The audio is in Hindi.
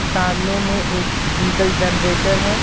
सामने में एक डीजल जनरेटर है.